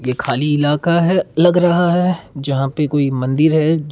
खाली इलाका है लग रहा है जहां पे कोई मंदिर है।